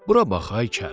Bura bax, ay kəl!